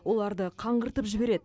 оларды қаңғыртып жібереді